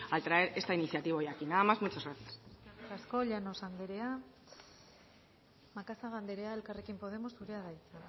al traer esta iniciativa hoy aquí nada más muchas gracias eskerrik asko llanos andrea macazaga andrea elkarrekin podemos zurea da hitza